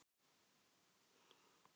Það var rigningarsuddi.